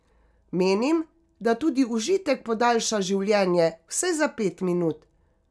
Menim, da tudi užitek podaljša življenje, vsaj za pet minut.